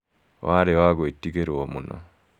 Warĩ wa gũĩtigĩrwo mũno.